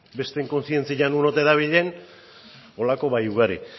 besteen kontzientzia non ote dabilen holako bai ugari